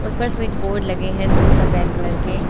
उस पर switch board लगे हैं दो सफेद कलर के।